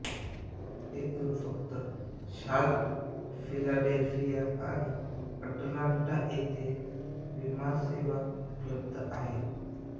येथून फक्त Charlotte Philadelphia आणि अटलांटा येथे विमानसेवा उपलब्ध आहे